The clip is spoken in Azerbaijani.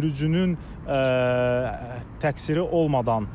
Sürücünün təqsiri olmadan